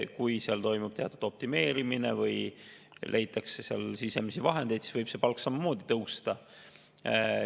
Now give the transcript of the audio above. Kui seal toimub teatud optimeerimine või leitakse sisemisi vahendeid, siis võib neil palk samamoodi tõusta.